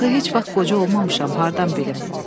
Axı heç vaxt qoca olmamışam, hardan bilim?